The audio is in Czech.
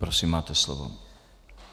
Prosím, máte slovo.